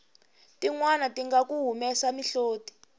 tinwani tinga ku humesa mihloti